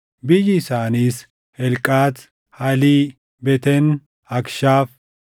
Biyyi isaaniis: Helqaat, Halii, Beten, Akshaaf,